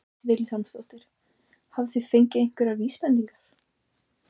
Hödd Vilhjálmsdóttir: Hafið þið fengið einhverjar vísbendingar?